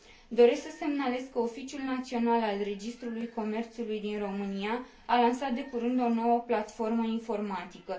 Doresc să semnalez că Oficiul Național al Registrului Comerțului din România a lansat de curând o nouă platformă informatică.